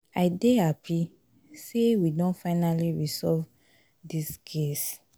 i dey happy say we don finally resolve dis case